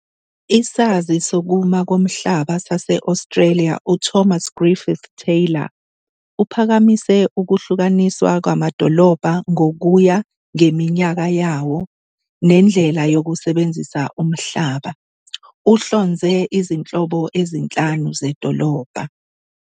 Isazi sokuma komhlaba sase-Australia uThomas Griffith Taylor uphakamise ukuhlukaniswa kwamadolobha ngokuya ngeminyaka yawo nendlela yokusebenzisa umhlaba. Uhlonze izinhlobo ezinhlanu zedolobha.